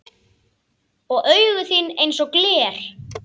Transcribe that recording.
Og augu þín einsog gler.